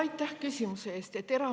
Aitäh küsimuse eest!